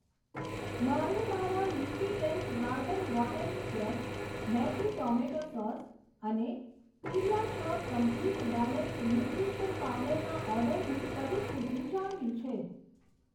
મારે મારા leafy tails garden watering can, Maggi tomato sauce અને પેડિયાસોર કમ્પ્લીટ બેલેન્સડ ન્યુટ્રીશન પાવડરના ઓર્ડરની પરિસ્થિતિ જાણવી છે.